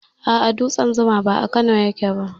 Aa, dutsen zuma ba a Kano yake ba